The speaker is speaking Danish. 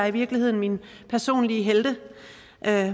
i virkeligheden mine personlige helte